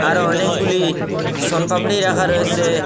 আরো অনেকগুলি শোন পাপড়ি রাখা রয়েসে ।